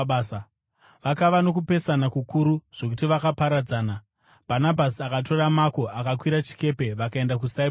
Vakava nokupesana kukuru zvokuti vakaparadzana. Bhanabhasi akatora Mako akakwira chikepe vakaenda kuSaipurasi,